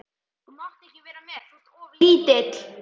Þú mátt ekki vera með, þú ert of lítill.